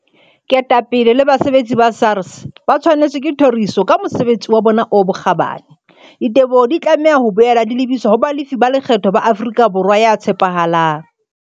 Ketapele le basebetsi ba SARS ba tshwanetswe ke thoriso ka mosebesi wa bona o bokgabani. Diteboho di tlameha ho boela di lebiswa ho balefi ba lekgetho ba Afrika Borwa ya tshepahalang.